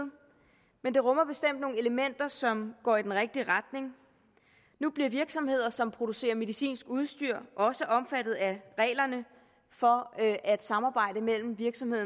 men det rummer bestemt nogle elementer som går i den rigtige retning nu bliver virksomheder som producerer medicinsk udstyr også omfattet af reglerne for at samarbejde mellem virksomhed